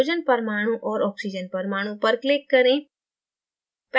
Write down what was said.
hydrogen परमाणु और oxygen परमाणु पर click करें